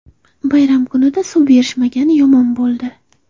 Bayram kunida suv berishmagani yomon bo‘ldi.